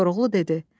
Koroğlu dedi.